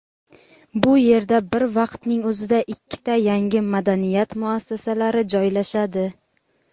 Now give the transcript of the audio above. bu yerda bir vaqtning o‘zida ikkita yangi madaniyat muassasalari joylashadi.